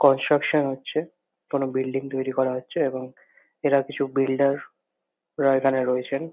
Construction হচ্ছে। কোনো building তৈরী করা হচ্ছে এবং এরা কিছু বিল্ডার -রা এখানে রয়েছেন।